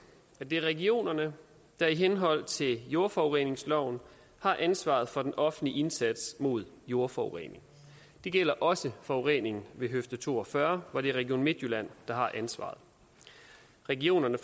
at det er regionerne der i henhold til jordforureningsloven har ansvaret for den offentlige indsats mod jordforurening det gælder også forureningen ved høfde to og fyrre hvor det er region midtjylland der har ansvaret regionerne